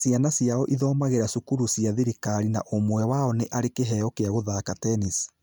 Ciana ciao ithomagira cukuru cia thirikari na ũmwe wao ni ari kĩveo kĩa kũthaka tennis